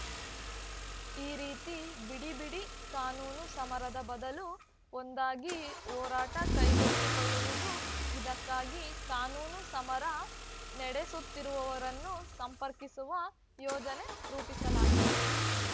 ಈ ರೀತಿ ಬಿಡಿ ಬಿಡಿ ಕಾನೂನು ಸಮರದ ಬದಲು ಒಂದಾಗಿ ಹೋರಾಟ ಕೈಗೆತ್ತಿಕೊಳ್ಳುವುದು ಇದಕ್ಕಾಗಿ ಕಾನೂನು ಸಮರ ನಡೆಸುತ್ತಿರುವವರನ್ನು ಸಂಪರ್ಕಿಸುವ ಯೋಜನೆ ರೂಪಿಸಲಾಗಿದೆ